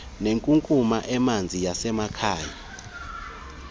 nenkunkuma emanzi yasemakhaya